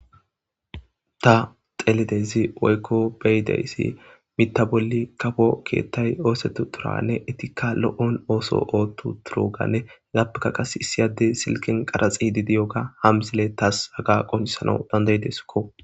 Ta xeelidaysi woyko be'idasi mitha bolli kafo keethi oosetutidagane eetika lo'o ooson oothutidagane izapeka kase issi adde silken qaraxidi de'iyoga ha misile tasi haga qoncisanas danda'idesko.